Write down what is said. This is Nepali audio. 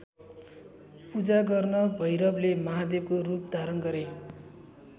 पूजा गर्न भैरवले महादेवको रूप धारण गरे।